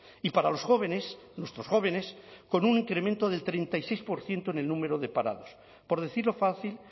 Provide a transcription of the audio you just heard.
y para los jóvenes nuestros jóvenes con un incremento del treinta y seis por ciento en el número de parados por decirlo fácil